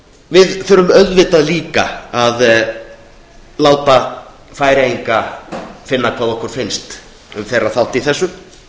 við þurfum líka að láta færeyinga finna hvað okkur finnst um þeirra þátt í þessu